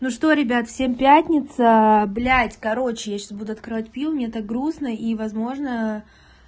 ну что ребят всем пятница блядь короче я сейчас буду открывать пиво мне так грустно и возможно